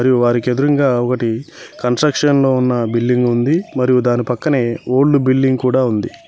మరియు వారికీ ఎదురుంగా ఒకటి కన్స్ట్రక్షన్ లో ఉన్న బిల్డింగ్ ఉంది మరియు దాని పక్కనే ఓల్డ్ బిల్డింగ్ కూడా ఉంది.